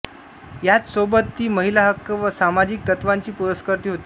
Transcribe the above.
ह्याचसोबत ती महिला हक्क व सामाजिक तत्वांची पुरस्कर्ती होती